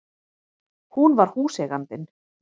Hún var húseigandinn!